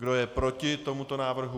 Kdo je proti tomuto návrhu?